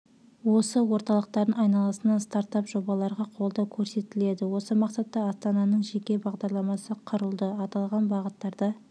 осы орталықтардың айналасына стартап жобаларға қолдау көрсетіледі осы мақсатта астананың жеке бағдарламасы құрылды аталған бағыттарда